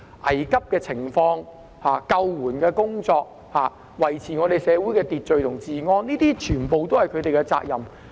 危急的情況、救援的工作、維持社會秩序和治安，這些全部都是他們的責任。